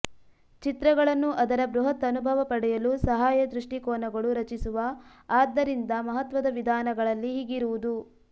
ಚಿತ್ರಗಳನ್ನು ಅದರ ಬೃಹತ್ ಅನುಭವ ಪಡೆಯಲು ಸಹಾಯ ದೃಷ್ಟಿಕೋನಗಳು ರಚಿಸುವ ಆದ್ದರಿಂದ ಮಹತ್ವದ ವಿಧಾನಗಳಲ್ಲಿ ಹೀಗಿರುವುದು